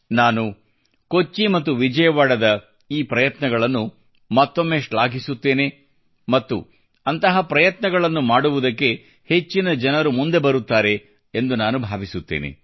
ನಾನು ಕೊಚ್ಚಿ ಮತ್ತು ವಿಜಯವಾಡದ ಈ ಪ್ರಯತ್ನಗಳನ್ನು ಮತ್ತೊಮ್ಮೆ ಶ್ಲಾಘಿಸುತ್ತೇನೆ ಮತ್ತು ಅಂತಹ ಪ್ರಯತ್ನಗಳನ್ನು ಮಾಡುವುದಕ್ಕೆ ಹೆಚ್ಚಿನ ಜನರು ಮುಂದೆ ಬರುತ್ತಾರೆ ಎಂದು ಭಾವಿಸುತ್ತೇನೆ